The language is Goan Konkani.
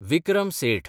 विक्रम सेठ